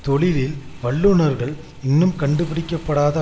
தொழிலில் வல்லுனர்கள் இன்னும் கண்டுபிடிக்க படாத